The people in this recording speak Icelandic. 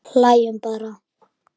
Hlæjum bara.